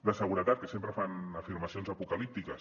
de seguretat que sempre fan afirmacions apocalíptiques